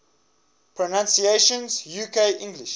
pronunciations uk english